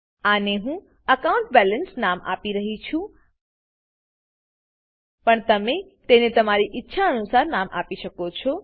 આને હું એકાઉન્ટબેલેન્સ નામ આપી રહ્યી છું પણ તમે તેને તમારી ઈચ્છા અનુસાર નામ આપી શકો છો